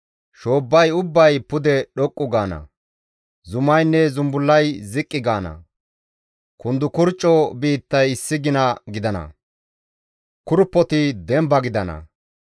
Shoobbay ubbay pude dhoqqu gaana; zumaynne zumbullay ziqqi gaana; kundukurcco biittay issi gina gidana; kurppoti demba gidana.